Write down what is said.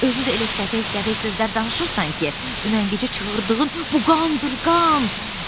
Özü də elə səfək-səfək sözlər danışırsan ki, dünən gecə çığırdığın bu qandır, qan.